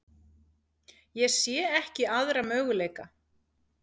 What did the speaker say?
Ég sé ekki aðra möguleika.